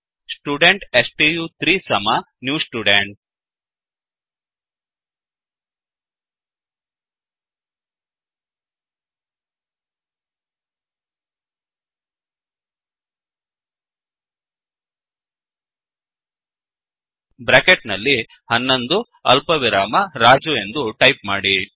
student ಸ್ಟು3 ಸಮ new student bracket ನಲ್ಲಿ 11 ಅಲ್ಪವಿರಾಮ ರಾಜು ಎಂದು ಟೈಪ್ ಮಾಡಿ